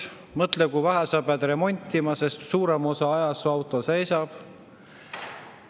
Ja mõtle, kui vähe sa pead remontima, sest suurema osa ajast su auto seisab.